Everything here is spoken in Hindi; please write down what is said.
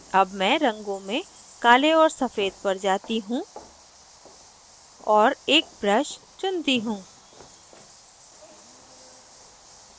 अब मैं रंगों में काले और सफ़ेद पर जाती हूँ और एक brush चुनती हूँ